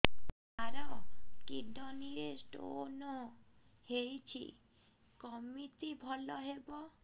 ସାର kidney ରେ stone ହେଇଛି କମିତି ଭଲ ହେବ